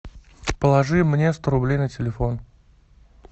положи мне сто рублей на телефон